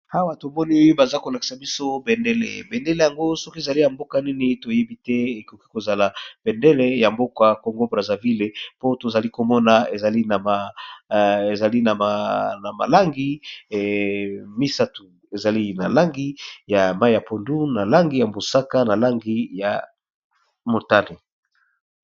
Awa tomoni oyo baza kolakisa biso bendele, bendele yango soki ezali ya mboka nini toyebi te, ekoki kozala bendele ya mboka congo brasa ville po tozali komona ezali na malangi misatu. Ezali na langi ya mai ya pondu na langi ya mbusaka na langi ya motane.